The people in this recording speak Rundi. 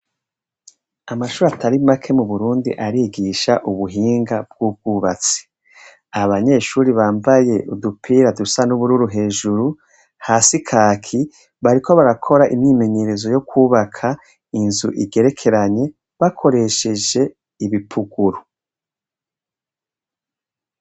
Amashuri atari make mu burundi arigisha ubuhinga bw'ubwubatsi. Abanyeshuri bambaye udupira dusa n'ubururu hejuru hasi kaki bariko barakora imyimenyerezo yo kubaka inzu igerekeranye bakoresheje ibipuguru.